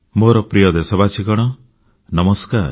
ମୋର ପ୍ରିୟ ଦେଶବାସୀଗଣ ନମସ୍କାର